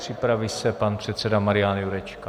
Připraví se pan předseda Marian Jurečka.